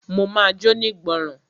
Mo ma jónígbọràn.